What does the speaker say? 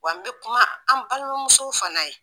Wa n bɛ kuma an balimamusow fana ye